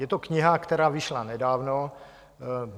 Je to kniha, která vyšla nedávno.